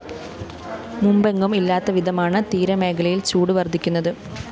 മുമ്പെങ്ങും ഇല്ലാത്ത വിധമാണ് തീരമേഖലയില്‍ ചൂട് വര്‍ധിക്കുന്നത്